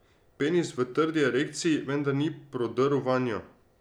Penis v trdi erekciji, vendar ni prodrl vanjo.